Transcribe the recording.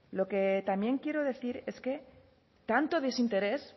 lo que también quiero decir es que tanto desinterés